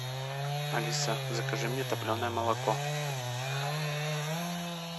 алиса закажи мне топленное молоко